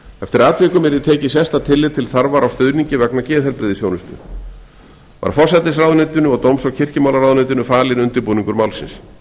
eftir atvikum yrði tekið sérstakt tillit til þarfar á stuðningi vegna geðheilbrigðisþjónustu var forsætisráðuneytinu og dóms og kirkjumálaráðuneytinu falinn undirbúningur málsins